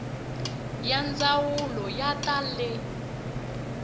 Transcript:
ya ndzawulo ya ta le